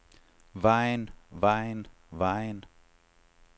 vejen vejen vejen